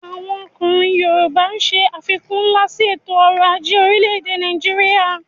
Àwọn ọkùnrin yoòbá ṣe àfikún nlá sí ètò ọrọ̀ ajé orílẹ̀-èdè Nàìjíríyà